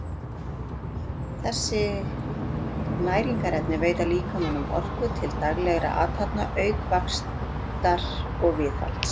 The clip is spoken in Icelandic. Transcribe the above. þessi næringarefni veita líkamanum orku til daglegra athafna auk vaxtar og viðhalds